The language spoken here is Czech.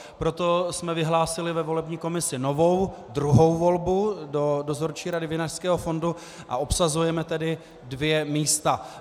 Proto jsme vyhlásili ve volební komisi novou druhou volbu do Dozorčí rady Vinařského fondu, a obsazujeme tedy dvě místa.